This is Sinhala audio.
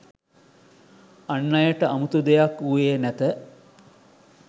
අන් අයට අමුතු දෙයක් වූයේ නැත